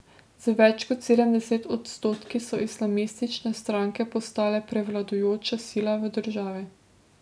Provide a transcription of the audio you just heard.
Z več kot sedemdeset odstotki so islamistične stranke postale prevladujoča sila v državi.